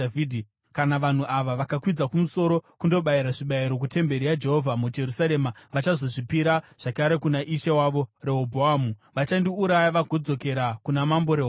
Kana vanhu ava vakakwidza kumusoro kundobayira zvibayiro kutemberi yaJehovha muJerusarema, vachazozvipira zvakare kuna ishe wavo, Rehobhoamu. Vachandiuraya vagodzokera kuna Mambo Rehobhoamu.”